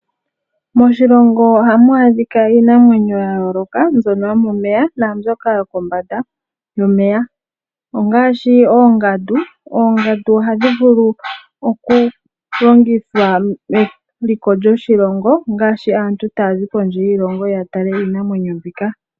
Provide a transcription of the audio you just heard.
Moshilongo ohamu adhika iinamwenyo ya yooloka mbyono yo momeya naambyoka yo kombanda. Yo momeya ongaashi oongandu, oongandu ohadhi vulu okulongithwa meliko lyoshilongo ngaashi aantu taya zi kondje yiilongo ya tale iinamwenyo mbika.